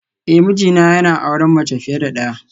Eh mijina yana auren mace fiye da daya